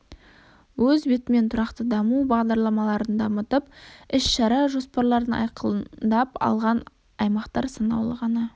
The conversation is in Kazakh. өз бетімен тұрақты даму бағдарламаларын дамытып іс-шара жоспарларын айқындап алған аймақтар санаулы ғана